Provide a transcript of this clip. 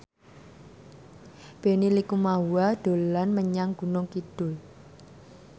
Benny Likumahua dolan menyang Gunung Kidul